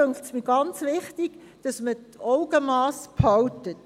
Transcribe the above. Deshalb muss man unbedingt das Augenmass behalten.